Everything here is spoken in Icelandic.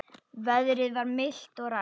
Veðrið var milt og rakt.